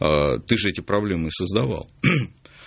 аа ты же эти проблемы создавал